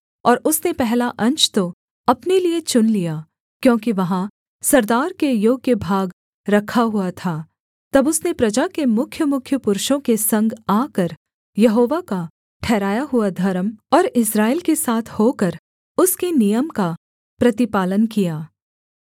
और उसने पहला अंश तो अपने लिये चुन लिया क्योंकि वहाँ सरदार के योग्य भाग रखा हुआ था तब उसने प्रजा के मुख्यमुख्य पुरुषों के संग आकर यहोवा का ठहराया हुआ धर्म और इस्राएल के साथ होकर उसके नियम का प्रतिपालन किया